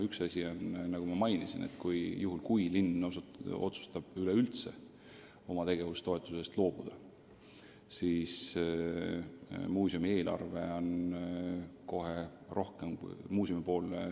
Üks asi on, nagu ma mainisin, et kui linn otsustab üldse oma tegevustoetusest loobuda, siis kahaneb muuseumi eelarve kohe kõvasti.